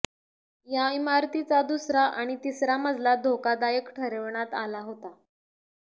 या इमारतीचा दुसरा आणि तिसरा मजला धोकादायक ठरविण्यात आला होता